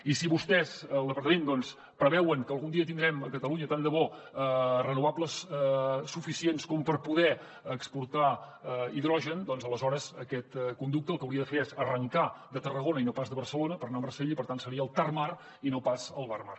i si vostès el departament doncs preveuen que algun dia tindrem a catalunya tant de bo renovables suficients com per poder exportar hidrogen doncs aleshores aquest conducte el que hauria de fer és arrencar de tarragona i no pas de barcelona per anar a marsella i per tant seria el tarmar i no pas el barmar